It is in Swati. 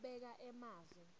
kubeka emavi